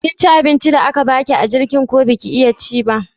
Kinci abincin da aka baki a jirgin ko baki iya ci ba?